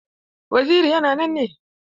Waziri yana nan ne?